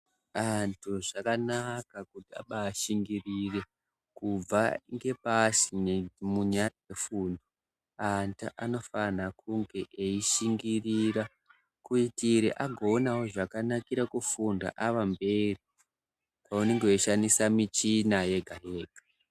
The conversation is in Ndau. Antu zvakanaka kuti abashingirire kubva kubva ngepasi antu anofana kunge eishingirira kuitire agoonawo zvakanakira kufunda ava mberi kwavanenge veishandisa michina yega yega.